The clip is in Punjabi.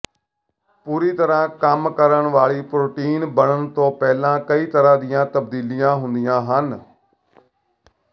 ਪੂਰੀ ਤਰ੍ਹਾਂ ਕੰਮ ਕਰਨ ਵਾਲੀ ਪ੍ਰੋਟੀਨ ਬਣਨ ਤੋਂ ਪਹਿਲਾਂ ਕਈ ਤਰ੍ਹਾਂ ਦੀਆਂ ਤਬਦੀਲੀਆਂ ਹੁੰਦੀਆਂ ਹਨ